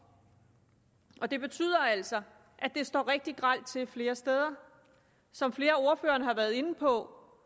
og det betyder altså at det står rigtig grelt til flere steder som flere af ordførerne har været inde på